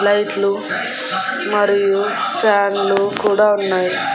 లైట్లు మరియు ఫ్యాన్లు కూడా ఉన్నాయి.